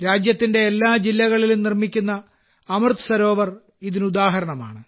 രാജ്യത്തിന്റെ എല്ലാ ജില്ലകളിലും നിർമ്മിക്കുന്ന അമൃത സരോവർ ഇതിന് ഉദാഹരണമാണ്